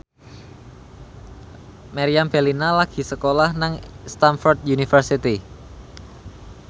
Meriam Bellina lagi sekolah nang Stamford University